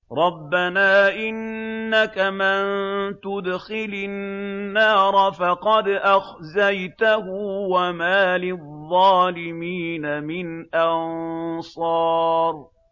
رَبَّنَا إِنَّكَ مَن تُدْخِلِ النَّارَ فَقَدْ أَخْزَيْتَهُ ۖ وَمَا لِلظَّالِمِينَ مِنْ أَنصَارٍ